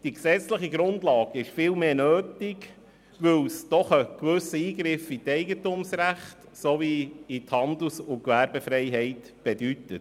Die gesetzliche Grundlage ist vielmehr nötig, weil die Einrichtung von Schutzzonen einen gewissen Eingriff ins Eigentumsrecht sowie in die Handels- und Gewerbefreiheit bedeutet.